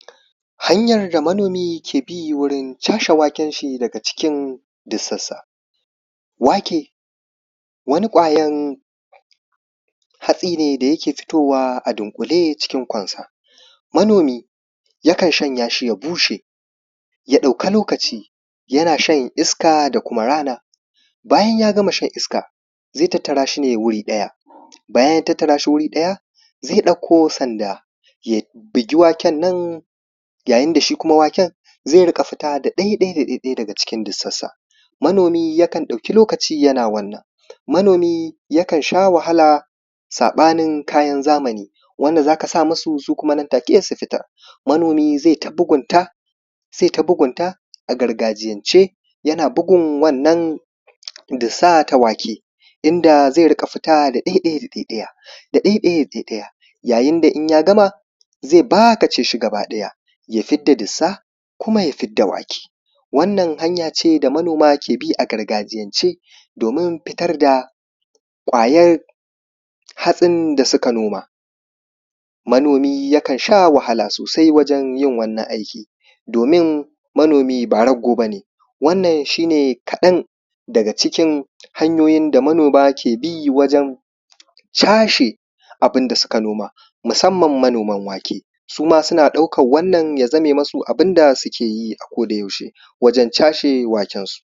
hanyan da manomi su ke bi wurin cashe waken shi daga cikin dussansa wake wani ƙwayan hatsi ne da yake fitowa a dunƙule cikin ƙonsa manomi yakan shanya shi ya bushe ya ɗauki lokaci yana shan iska da kuma rana bayan ya gama shan iska zai tattara shi ne wuri ɗaya bayan ya tattara shi wuri ɗaya zai ɗauko sanda ya bigi waken nan yayin da shi kuma waken zai riƙa fita da ɗai ɗai da ɗai ɗai daga cikin dussansa manomi yakan ɗauki lokaci yana wannan manomi yakan sha wahala saɓanin kayan zamani wanda za ka sa musu su kuma nan take su fitar manomi zai ta bugunta zai ta bugunta a gargajiyance yana bugun wannan dussa ta wake inda zai riƙa fita da ɗai ɗai da ɗai ɗai yayin da in ya gama zai bakace shi gaba ɗaya ya fidda dussa kuma ya fidda wake wannan hanya ce da manoma ke bi a gargajiyance domin fitar da ƙwayan hatsin da suka noma manomi yakan sha wahala sosai wajan yin wannan aiki domin manomi ba raggo ba ne wannan shi ne kaɗan daga cikin hanyoyin da manoma ke bi wajen cashe abun da suka noma musamman manoman wake suma suna ɗaukan wannan ya zame musu abunda suke yi a koda yaushe wajan cashe wakensu